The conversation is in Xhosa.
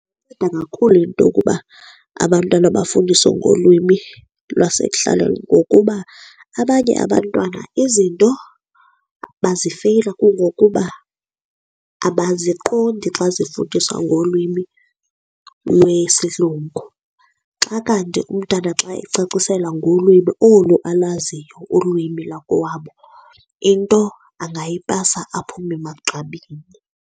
Inceda kakhulu into yokuba abantwana bafundiswe ngolwimi lwasekuhlaleni, ngokuba abanye abantwana izinto bazifeyila kungokuba abaziqondi xa zifundiswa ngolwimi lwesilungu. Xa kanti umntana xa ecaciselwa ngolwimi olu alaziyo ulwimi lakowabo into angayipasa aphume emagqabini.